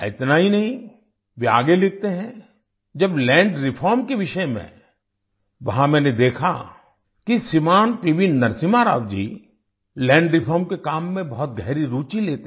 इनता ही नहीं वे आगे लिखते हैं जब लैंड रिफॉर्म के विषय में वहाँ मैंने देखा कि श्रीमान PV Narasimha Rao ji land reform के काम में बहुत गहरी रूचि लेते थे